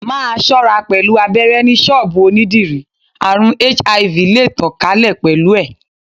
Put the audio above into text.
Máa ṣọ́ra pẹ̀lú abéré ni ṣọ́bùù onídìrí, àrùn HIV le tàn ká lè pẹ̀lú ẹ̀.